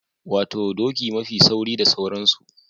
Wato doki mafi sauri da sauransu.